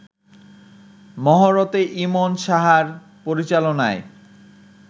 মহরতে ইমন সাহার পরিচালনায়